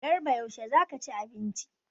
Garba yaushe za ka ci abinci?